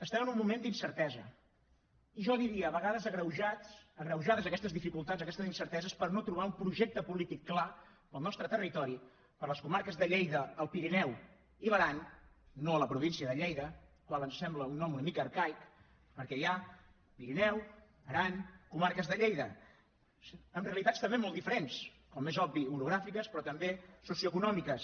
estem en un moment d’incertesa i jo diria a vegades agreujades aquestes dificultats aquestes incerteses per no trobar un projecte polític clar per al nostre territori per a les comarques de lleida el pirineu i l’aran no la província de lleida quan sembla el nom una mica arcaic perquè hi ha pirineu aran comarques de lleida amb realitats també molt diferents com és obvi orogràfiques però també socioeconòmiques